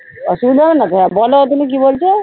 অসুবিধা হবে না তো? হ্যাঁ বোলো তুমি কি বলছো?